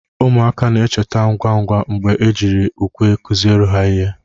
ụmụaka na-echeta ngwa ngwa mgbe ejiri ukwe kụziere ha ihe